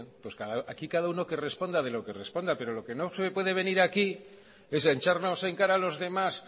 pues bien aquí cada uno que responda de lo que responda pero lo que no se puede venir aquí es a echarnos en cara a los demás